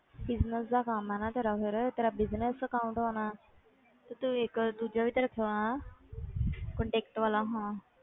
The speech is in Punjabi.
Business ਦਾ ਕੰਮ ਹੈ ਨਾ ਤੇਰਾ ਫਿਰ ਤੇਰਾ business account ਹੋਣਾ ਤੇ ਤੂੰ ਇੱਕ ਦੂਜਾ ਵੀ ਤੇ ਰੱਖਿਆ ਹੋਇਆ contact ਵਾਲਾ ਹਾਂ।